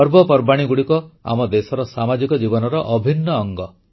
ପର୍ବପର୍ବାଣୀଗୁଡ଼ିକ ଆମ ଦେଶର ସାମାଜିକ ଜୀବନର ଅଭିନ୍ନ ଅଙ୍ଗ